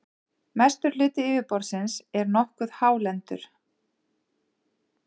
mestur hluti yfirborðsins er nokkuð hálendur